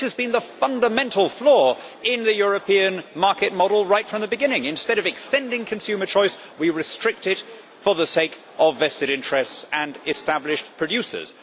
This has been the fundamental flaw in the European market model right from the beginning instead of extending consumer choice, we restrict it for the sake of vested interests and established producers.